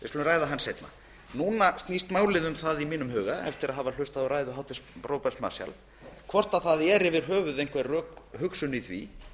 seinna í mínum huga snýst málið nú um það eftir að hafa hlýtt á ræðu háttvirts þingmanns róberts marshalls hvort einhver rökhugsun er yfir höfuð í því